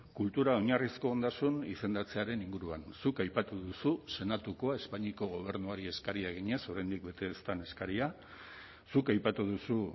kultura oinarrizko ondasun izendatzearen inguruan zuk aipatu duzu senatukoa espainiako gobernuari eskaria eginez oraindik bete ez den eskaria zuk aipatu duzu